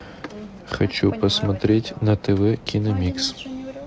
хочу посмотреть на тв киномикс